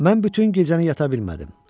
Mən bütün gecəni yata bilmədim.